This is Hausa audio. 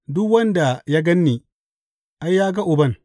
Duk wanda ya gan ni, ai, ya ga Uban.